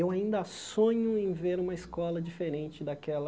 Eu ainda sonho em ver uma escola diferente daquela.